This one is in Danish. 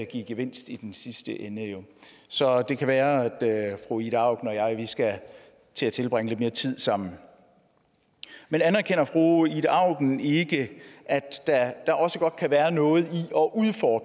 give gevinst i den sidste ende så det kan være at fru ida auken og jeg skal til at tilbringe lidt mere tid sammen men anerkender fru ida auken ikke at der også godt kan være noget i